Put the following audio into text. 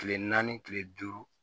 Kile naani kile duuru